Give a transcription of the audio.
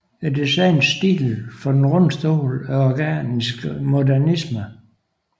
Designets stil for Den runde stol er organisk modernisme